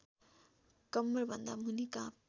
कम्मरभन्दा मुनि काप